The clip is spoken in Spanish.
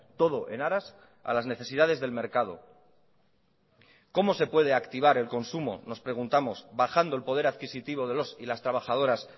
todo en aras a las necesidades del mercado cómo se puede activar el consumo nos preguntamos bajando el poder adquisitivo de los y las trabajadoras